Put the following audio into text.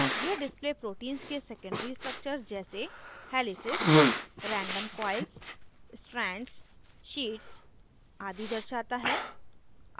यह display protein के secondary structure जैसे helices random coils strands sheets आदि दर्शाता है